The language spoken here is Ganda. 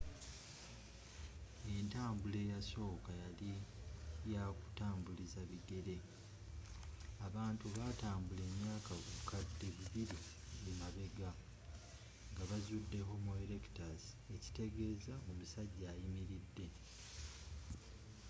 entambula eyasokawo yali ya kutambulisa bigere abantu batambula emyaka obukadde bibili emabegga nga bazzude homo erectus ekitegezza omussajja ayimilidde